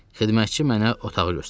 Xidmətçi mənə otağı göstərdi.